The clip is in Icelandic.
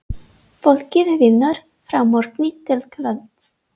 Fólkið vinnur frá morgni til kvölds.